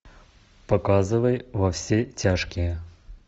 показывай во все тяжкие